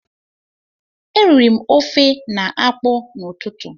E riri m ofe na akpụ n'ụtụtụ